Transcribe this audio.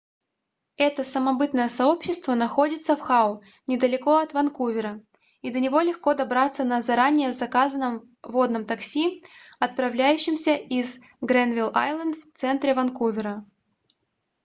это самобытное сообщество находится в хау недалеко от ванкувера и до него легко добраться на заранее заказанном водном такси отправляющемся из грэнвилл-айленд в центре ванкувера